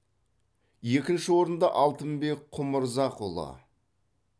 екінші орынды алтынбек құмырзақұлы